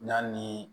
N'a ni